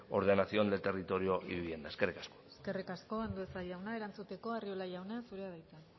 ordenación del territorio y vivienda eskerrik asko eskerrik asko andueza jauna erantzuteko arriola jauna zurea da hitza